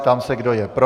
Ptám se, kdo je pro.